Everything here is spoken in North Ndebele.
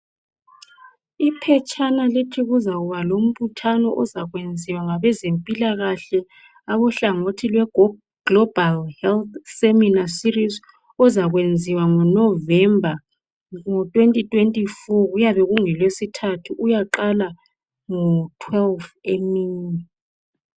Iphetshana lithi kuzakuba lombuthano ozakwenziwa ngabezempilakahle abohlangothi lwe Global Health Seminar Series ozakwenziwa ngo November 2024 kuyabe kungolwesithathu uyaqala ngo 12 emini.